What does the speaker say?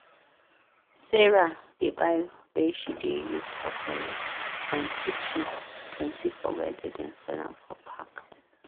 sarah dey buy wey she dey use for toilet and kitchen plenty for wer dem dey sell m for pack